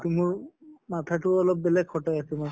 তʼ মাথা টো অলপ বেলেগ খটাই আছো মই